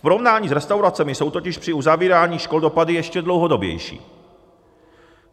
V porovnání s restauracemi jsou totiž při uzavírání škol dopady ještě dlouhodobější.